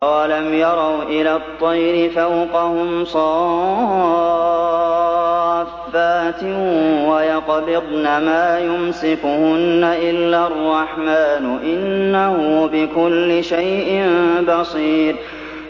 أَوَلَمْ يَرَوْا إِلَى الطَّيْرِ فَوْقَهُمْ صَافَّاتٍ وَيَقْبِضْنَ ۚ مَا يُمْسِكُهُنَّ إِلَّا الرَّحْمَٰنُ ۚ إِنَّهُ بِكُلِّ شَيْءٍ بَصِيرٌ